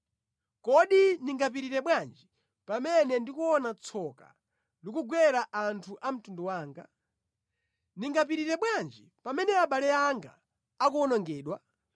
Kodi ndingapirire bwanji pamene ndi kuona tsoka likugwera anthu a mtundu wanga? Ndingapirire bwanji pamene abale anga akuwonongedwa?”